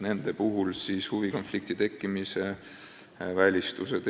Nende puhul on ette nähtud huvide konflikti tekkimise välistused.